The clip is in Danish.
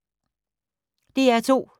DR2